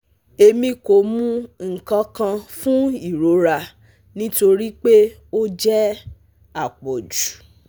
Emi ko mu nkankan fun irora nitori pe o jẹ apọju